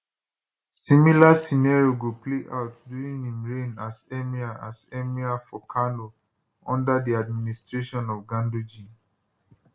similar scenario go play out during im reign as emir as emir for kano under di administration of ganduje